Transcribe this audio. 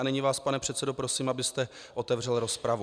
A nyní vás, pane předsedo, prosím, abyste otevřel rozpravu.